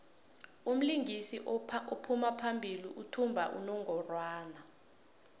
umlingisi ophambili uthumba unongorwand